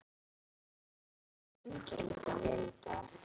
Já, og þeir syngja líka vel í dag.